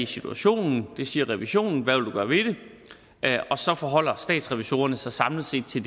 situationen det siger revisionen hvad vil du gøre ved det så forholder statsrevisorerne sig samlet set til